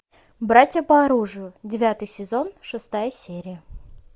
братья по оружию девятый сезон шестая серия